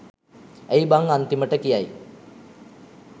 ඇයි බං අන්තිමට කියයි